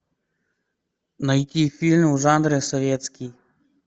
найти фильм в жанре советский